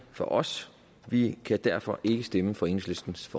for os og vi kan derfor ikke stemme for enhedslistens